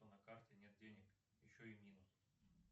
на карте нет денег еще и минус